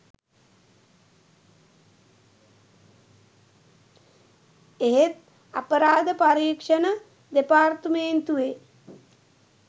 එහෙත් අපරාධ පරීක්ෂණ දෙපාර්තමේන්තුවේ